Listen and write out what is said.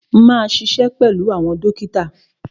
Máa ṣiṣẹ́ pẹ̀lú àwọn dókítà.